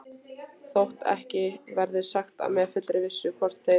Þótt ekki verði sagt með fullri vissu, hvort þeir